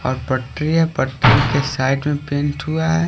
और पटरी है पटरी के साइड में पेंट हुआ है।